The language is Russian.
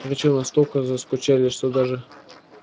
причём настолько заскучали что даже